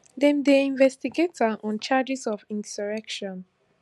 dem dey investigate am on charges of insurrection